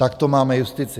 Tak to máme justici.